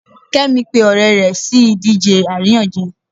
kemi pe ọrẹ rẹ si idije aríyànjiyàn